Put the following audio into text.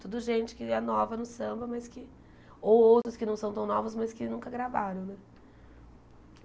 Tudo gente que é nova no samba, mas que ou outros que não são tão novos, mas que nunca gravaram né.